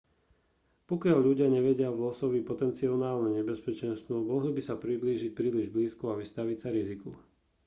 pokiaľ ľudia nevidia v losovi potenciálne nebezpečenstvo mohli by sa priblížiť príliš blízko a vystaviť sa riziku